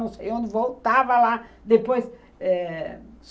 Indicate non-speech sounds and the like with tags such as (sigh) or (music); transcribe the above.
Eu não sei (unintelligible) voltava lá depois.